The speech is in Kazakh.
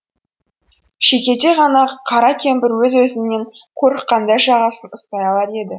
шүйкедей ғана қара кемпір өз өзінен қорыққандай жағасын ұстай алар еді